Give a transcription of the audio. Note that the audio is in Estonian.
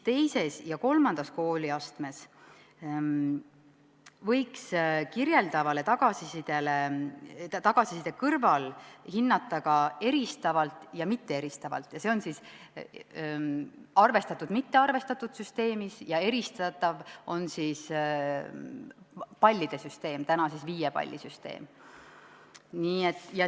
II ja III kooliastmes võiks kirjeldava tagasiside kõrval hinnata ka eristavalt ja mitteeristavalt .